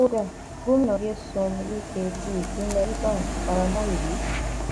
kódà gómìnà nyesom wike ti ìpínlẹ rivers fara mọ èyí